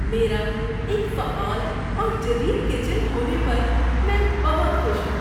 میرا ایک فعال اور جدید کچن ہونے پر میں بہت خوش ہوں۔